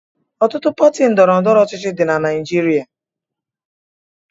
Ọtụtụ pati ndọrọndọrọ ọchịchị dị na Naịjirịa.